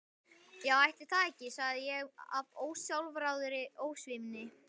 Já ætli það ekki, sagði ég af ósjálfráðri ósvífni.